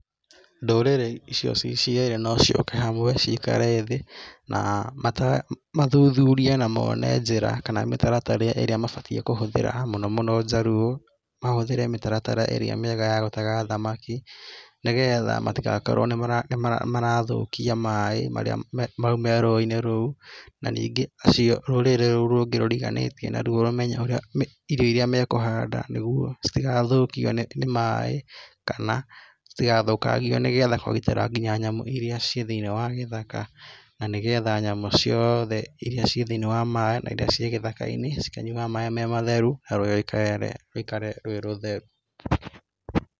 Ndũrĩrĩ ĩciũ ciĩ cĩerĩ no cĩũke hamwe ciĩkare thiĩ na mathuthurĩe na mone njĩra kana mĩtaratara ĩrĩa mabatĩe kũhũthĩra mũno mũno Jaluo. Mahũthĩre mĩtaratara ĩria mĩega ya gũtega thamakĩ nĩgetha matĩgakorwo nĩmarathũkia maĩ maũ me rũũinĩ rũu. Na nĩnge rũrĩrĩ rũu rũngĩ rũriganĩtie na rwo rũmenye ĩrio ĩrĩa mekũhanda nĩguo citĩgathokio nĩ maĩ kana citĩgathokangĩo nĩgetha kũgitĩra ngĩnya nyamũ irĩa ciĩ taĩiniĩ wa gĩthaka. Na nĩgetha nyamũ cĩothe ĩria ciĩ thĩiniĩ wa maiĩ na irĩa ciĩ gĩthaka cĩkanyuwaga maĩ matheru na rũũĩ rũikare rwi rũtheru.